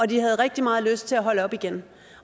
de have rigtig meget lyst til at holde op igen